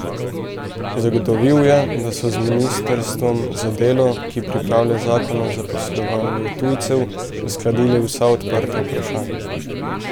Zagotovil je, da so z ministrstvom za delo, ki pripravlja zakon o zaposlovanju tujcev, uskladili vsa odprta vprašanja.